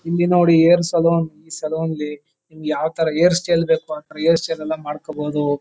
ಇಲ್ಲಿ ನೋಡಿ hair salon ಈ ಸಲೂನ್ ಲ್ಲಿ ನಿಮಗೆ ಯಾವ ತರ ಹೇರ್ ಸ್ಟೈಲ್ ಬೇಕು ಆತರ ಹೇರ್ ಸ್ಟೈಲ್ ನ್ನು ಮಾಡ್ಕೋಬೋದು.